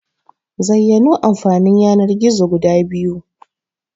Zayyano Amfanin Yanar-gizo guda biyu?